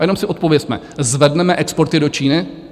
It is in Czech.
a jenom si odpovězme: Zvedneme exporty do Číny?